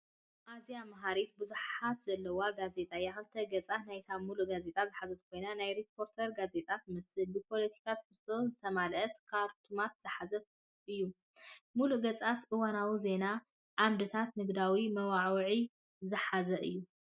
ኣዝያ መሃሪትን ብዙሕነት ዘለዋን ጋዜጣ እያ! ክልተ ገጻት ናይታ ምሉእ ጋዜጣ ዝሓዘት ኮይና፡ ናይ ሪፖርተር ጋዜጣ ትመስል። ብፖለቲካዊ ትሕዝቶ ዝተመልአ ካርቱንታት ዝሓዘ እዩ። ምሉእ ገጻት እዋናዊ ዜናታት፡ ዓምድታትን ንግዳዊ መወዓውዒታትን ዝሓዘ እዩ።